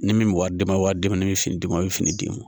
Ni min bɛ wari d'i ma walima ni min bɛ fini d'i ma i bɛ fini d'i ma